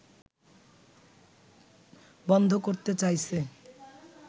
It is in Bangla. বন্ধ করতে চাইছে